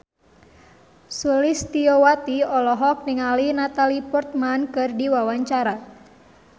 Sulistyowati olohok ningali Natalie Portman keur diwawancara